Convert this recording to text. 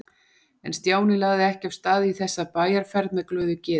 En Stjáni lagði ekki af stað í þessa bæjarferð með glöðu geði.